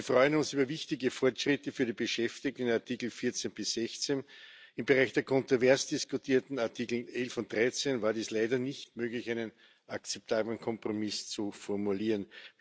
Wir freuen uns über wichtige Fortschritte für die Beschäftigten in Artikel 14 bis 16. Im Bereich der kontrovers diskutierten Artikel 11 und 13 war es leider nicht möglich, einen akzeptablen Kompromiss zu formulieren.